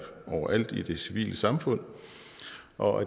overalt i det civile samfund og